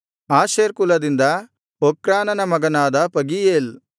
Asher ಕುಲದಿಂದ ಒಕ್ರಾನನ ಮಗನಾದ ಪಗೀಯೇಲ್